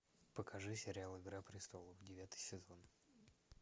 покажи сериал игра престолов девятый сезон